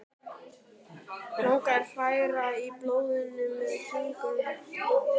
Langar að hræra í blóðinu með fingrunum.